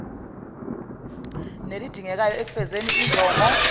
nelidingekayo ekufezeni injongo